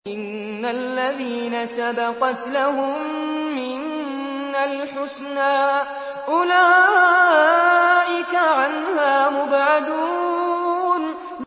إِنَّ الَّذِينَ سَبَقَتْ لَهُم مِّنَّا الْحُسْنَىٰ أُولَٰئِكَ عَنْهَا مُبْعَدُونَ